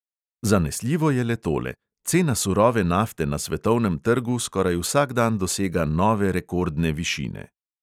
Zanesljivo je le tole: cena surove nafte na svetovnem trgu skoraj vsak dan dosega nove rekordne višine.